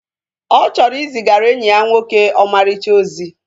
Ọ chọrọ izigara enyi ya nwoke ọmarịcha ozi